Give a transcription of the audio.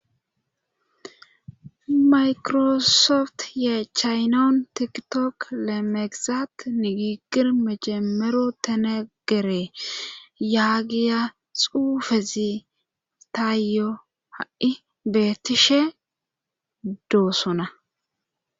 maykirosoft yee chaynawun tikitok lemegizat nigiigir mejemero tenegere yaagiya xuufezi taayyo ha7i beettishe doosona